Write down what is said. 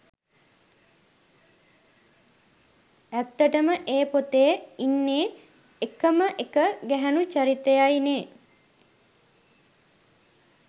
ඇත්තටම ඒ පොතේ ඉන්නෙ එකම එක ගෑණු චරිතයයි නේ